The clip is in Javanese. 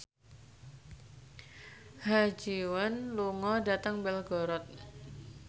Ha Ji Won lunga dhateng Belgorod